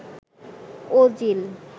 Ozil